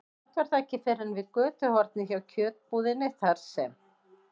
Samt var það ekki fyrr en við götuhornið hjá kjötbúðinni, þar sem